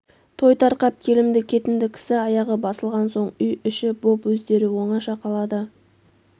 той тарқап келімді-кетімді кісі аяғы басылған соң үй-іші боп өздері оңаша қалады